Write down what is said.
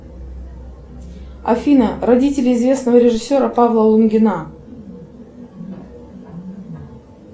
афина родители известного режиссера павла лунгина